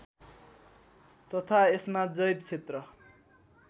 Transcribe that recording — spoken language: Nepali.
तथा यसमा जैव क्षेत्र